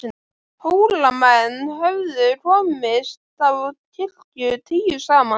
Hólamenn höfðu komist á kirkju tíu saman.